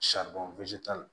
t'a la